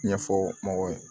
Ɲɛfɔ mɔgɔw ye